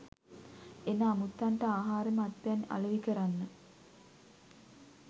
එන අමුත්තන්ට ආහාර මත්පැන් අලෙවි කරන්න.